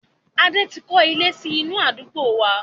Adé tí kọ́lé sì inú àdúgbò wá.